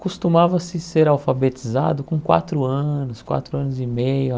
Costumava-se ser alfabetizado com quatro anos, quatro anos e meio.